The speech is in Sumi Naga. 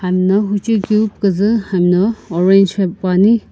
I'm na hujui ku kiipzii hamno orange poane.